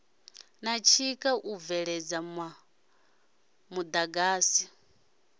na tshikha u bveledza muḓagasi